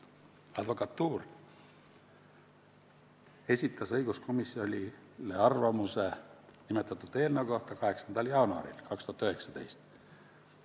Advokatuur esitas õiguskomisjonile arvamuse nimetatud eelnõu kohta 8. jaanuaril 2019.